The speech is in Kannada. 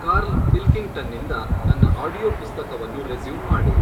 ಕಾರ್ಲ್ ಪಿಲ್ಕಿಂಗ್ಟನ್ನಿಂದ ನನ್ನ ಆಡಿಯೊ ಪುಸ್ತಕವನ್ನು ರೆಸ್ಯೂಮ್ ಮಾಡು